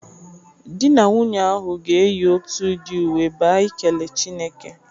Di na nwunye ahụ ga-eyi otu udị uwe ba ikele Chineke.